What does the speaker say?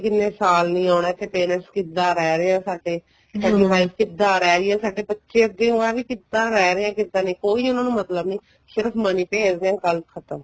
ਕਿੰਨੇ ਕਿੰਨੇ ਸਾਲ ਨਹੀਂ ਆਉਣਾ ਇੱਥੇ parents ਕਿੱਦਾਂ ਰਹਿ ਰਹੇ ਹੈ ਸਾਡੀ wife ਕਿੱਦਾਂ ਰਹਿ ਰਹੀ ਹੈ ਸਾਡੇ ਬੱਚੇ ਅੱਗੇ ਹੋ ਹੈ ਕਿੱਦਾਂ ਰਹਿ ਰਹੇ ਏ ਕਿੱਦਾਂ ਨਹੀਂ ਕੋਈ ਉਹਨਾ ਨੂੰ ਮਤਲਬ ਨਹੀਂ ਸਿਰਫ਼ money ਭੇਜਦੇ ਏ ਗੱਲ ਖ਼ਤਮ